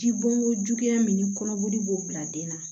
Ji bɔn ko juguya min ni kɔnɔboli b'o bila den na